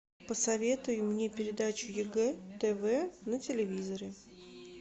посоветуй мне передачу егэ тв на телевизоре